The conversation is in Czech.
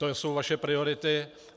To jsou vaše priority.